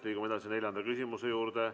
Liigume edasi neljanda küsimuse juurde.